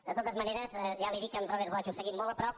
de totes maneres ja li dic amb robert bosch ho seguim molt a prop